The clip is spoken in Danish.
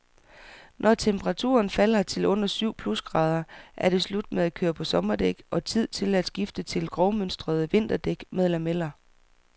Når temperaturen falder til under syv plusgrader, er det slut med at køre på sommerdæk og tid til at skifte til grovmønstrede vinterdæk med lameller.